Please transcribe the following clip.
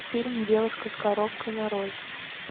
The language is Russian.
фильм девушка с коробкой нарой